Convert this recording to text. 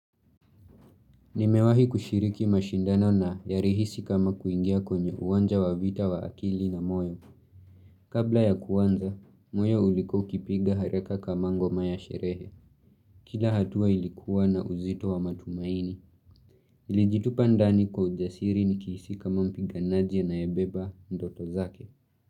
Nimewahi kushiriki mashindano na yarihisi kama kuingia kwenye uwanja wa vita wa akili na moyo. Kabla ya kuanza, moyo ulikua ukipiga haraka kama ngoma ya sherehe. Kila hatua ilikuwa na uzito wa matumaini. Nilijitupa ndani kwa ujasiri nikihisi kama mpiganaji anaebeba ndoto zake.